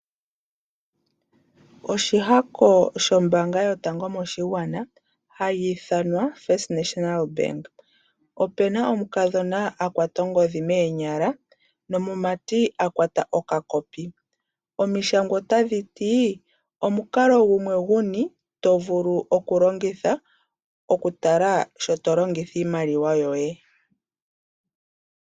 Oshihako shombaanga yotango moshigwana hayi ithanwa First National Bank. Opu na omukadhona a kwata ongodhi moonyala nomumati a kwata okakopi. Omishangwa otadhi ti: Omukalo gumwe guni to vulu okulongitha okutala sho to longitha iimaliwa yoye?